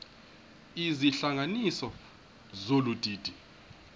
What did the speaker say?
izihlanganisi zolu didi